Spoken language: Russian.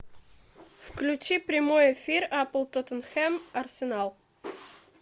включи прямой эфир апл тоттенхэм арсенал